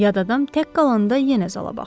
Yad adam tək qalanda yenə zala baxdı.